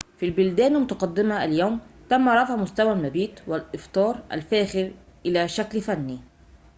في البلدان المتقدمة اليوم تم رفع مستوى المبيت والإفطار الفاخر إلى شكل فني